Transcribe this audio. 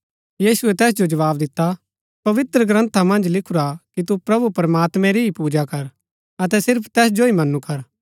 यीशुऐ तैस जो जवाव दिता पवित्रग्रन्था मन्ज लिखुरा कि तु प्रभु प्रमात्मैं री ही पूजा कर अतै सिर्फ तैस जो ही मन्‍नु कर